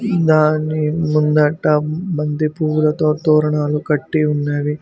దాని ముందట బంతి పువ్వులతో తోరణాలు కట్టి ఉన్నవి.